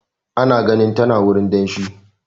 Ana ganin tana a wurin danshi.